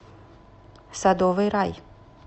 садовый рай